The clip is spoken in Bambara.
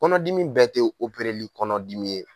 Kɔnɔdimi bɛɛ tɛ kɔnɔdimi ye